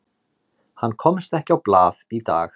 Hann komst ekki á blað í dag.